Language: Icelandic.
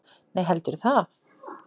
Nei, heldurðu það?